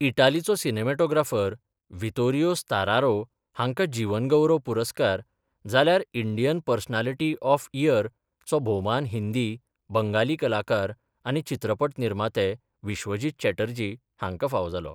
इटालिचो cinematographer Vittorio Storaro हांकां जीवन गौरव पुरस्कार, जाल्यार 'इंडियन पर्सनालिटी ऑफ इयर'चो भौमान हिंदी , बंगाली कलाकार आनी चित्रपट निर्माते विश्वजीत चॅटर्जी हांकां फावो जालो.